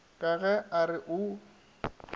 ka ge a re o